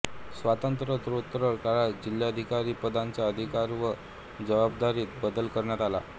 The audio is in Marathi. स्वातंत्र्योत्तर काळात जिल्हाधिकारी पदाच्या अधिकार व जबाबदारीत बदल करण्यात आला